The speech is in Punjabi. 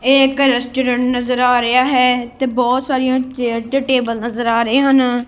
ਇਹ ਇੱਕ ਰੈਸਟੋਰੈਂਟ ਨਜ਼ਰ ਆ ਰਿਹਾ ਹੈ ਤੇ ਬਹੁਤ ਸਾਰੀਆਂ ਚੇਅਰਸ ਤੇ ਟੇਬਲ ਨਜ਼ਰ ਆ ਰਹੇ ਹਨ।